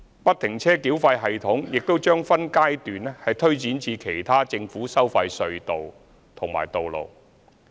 不停車繳費系統亦將分階段推展至其他政府收費隧道及道路。